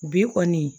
Bi kɔni